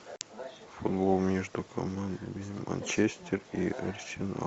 футбол между командами манчестер и арсенал